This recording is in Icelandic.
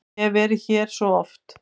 Ég hef verið hér svo oft.